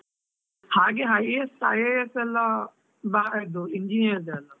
ಹಾಗೆ IAS IAS ಎಲ್ಲಾ ಬಾ~ ಇದು engineer ದ್ದೆ ಅಲ್ಲಾ?